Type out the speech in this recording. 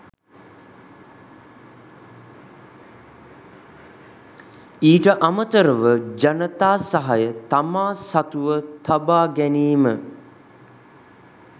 ඊට අමතරව ජනතා සහය තමා සතුව තබා ගැනීම